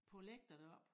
På æ lægter deroppe